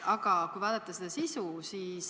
Aga vaatame sisu.